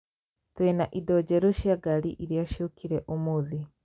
Twĩ na indo njerũ cia ngari iria ciokire ũmũthĩ